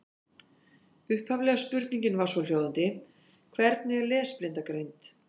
Upphaflega spurningin var svohljóðandi: Hvernig er lesblinda greind?